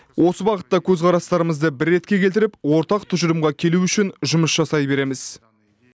осы бағытта көзқарастарымызды бір ретке келтіріп ортақ тұжырымға келу үшін жұмыс жасай береміз